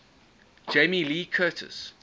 jamie lee curtis